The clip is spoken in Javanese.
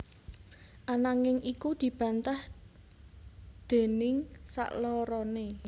Ananging iku dibantah déning sakloroné